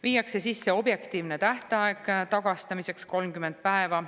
Viiakse sisse objektiivne tähtaeg tagastamiseks: 30 päeva.